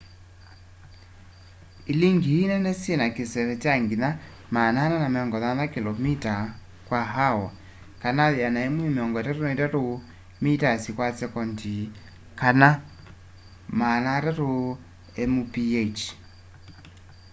ilingi ii nene syina kiseve kya nginya 480 km/h 133 m/s; 300 mph